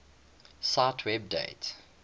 cite web date